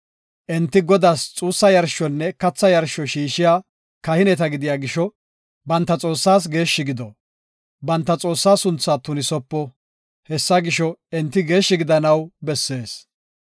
Enti Godaas xuussa yarshonne katha yarsho shiishiya kahineta gidiya gisho banta Xoossaas geeshshi gido; banta Xoossaa sunthaa tunisopo. Hessa gisho, enti geeshshi gidanaw bessees.